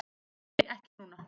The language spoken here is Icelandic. Þau bifast ekki.